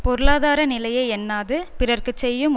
பொருளாதார நிலையை எண்ணாது பிறர்க்கு செய்யும்